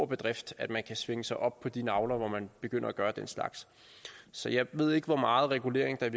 bedrift at man kan svinge sig op på de nagler hvor man begynder at gøre den slags så jeg ved ikke hvor meget regulering der i